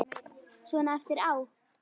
Svona eftir á.